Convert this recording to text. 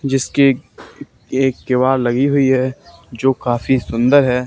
जिसकी एक क्यू_आर लगी हुई है जो काफी सुंदर है।